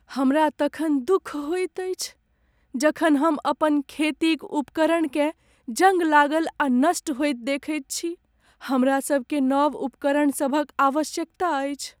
हमरा तखन दुख होइत अछि जखन हम अपन खेती क उपकरणकेँ जङ्ग लागल आ नष्ट होइत देखैत छी। हमरा सभकेँ नव उपकरण सभक आवश्यकता अछि।